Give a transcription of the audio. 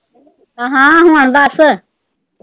ਹਾਂ, ਹੁਣ ਦੱਸ।